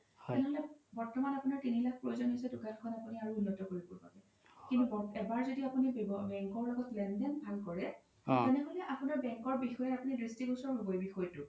বৰ্তমান আপোনাৰ তিনি লাখ প্ৰয়োজন হৈছে দুকানখন আপোনি আৰু উন্নত কৰিবৰ বাবে কিন্তু এবাৰ য্দি আপোনি bank ৰ লগত লেন দেন ভাল কৰে তেনেহ'লে আপোনাৰ bank ৰ বিষয়ে আপোনি দিশ্তিগুসৰ হ্'ব এই বিষয়তো